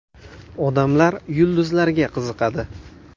Odamlar yulduzlarga qiziqadi.